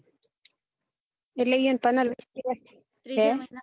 એટલે યો ને પંદર વીસ દિવસ